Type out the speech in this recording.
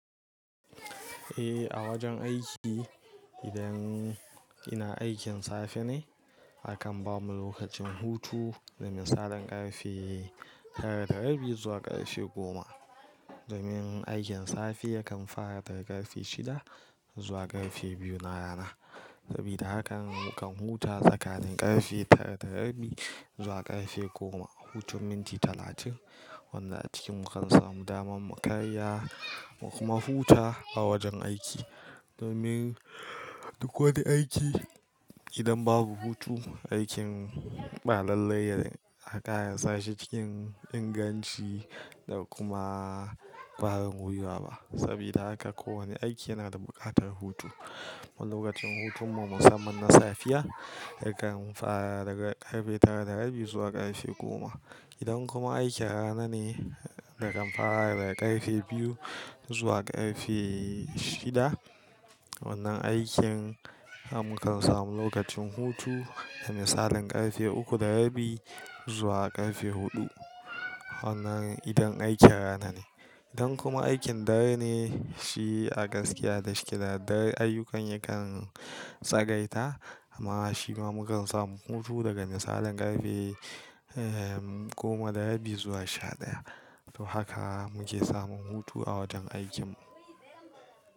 Eh, a wajen aiki idan ina aikin safe ne, akan ba mu lokacin hutu, domin misalin karfe tara da rabi zuwa karfe goma. Domin aikin safe yakan fara daga karfe shida zuwa karfe biyu na rana. Sabida haka mukan huta tsakani karfe tara da rabi zuwa karfe goma, hutun minti talatin. Wanda a ciki mukan samu damar mu karya, mu kuma huta a wajen aiki. Domin duk wani aiki idan babu hutu, aikin ba lallai ya a kara sashi cikin inganci da kuma ba ran wuya ba. Sabida haka kowane aiki yana da buƙatar hutu. Wa lokacin hutun mu musamman na safiya, yakan fara daga karfe tara da rabi zuwa karfe goma. Idan kuma aikin rana ne, na kan fara daga karfe biyu zuwa karfe shida. Wannan aikin haka mukan samu lokacin hutu, domin misalin karfe uku da rabi zuwa karfe huɗu. Wannan idan aikin rana ne. Idan kuma aikin dare ne, shi a gaskiya da sheki da dare ayyukan yakan tsagaita, amma shi ma mukan samu hutu daga misalin karfe, eh, goma da rabi zuwa sha ɗaya. To haka muke samun hutu a wajen aikin mu.